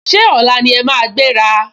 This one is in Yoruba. Ṣé ọ̀la ni ẹ máa gbéra?